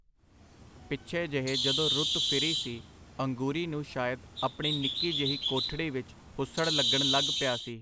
ਪਿਛੇ ਜਿਹੇ ਜਦੋਂ ਰੁੱਤ ਫਿਰੀ ਸੀ, ਅੰਗੂਰੀ ਨੂੰ ਸ਼ਾਇਦ ਆਪਣੀ ਨਿੱਕੀ ਜਿਹੀ ਕੋਠੜੀ ਵਿਚ ਹੁੱਸੜ ਲਗਣ ਲੱਗ ਪਿਆ ਸੀ.